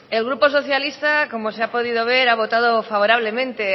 el grupo socialista como se ha podido ver ha votado favorablemente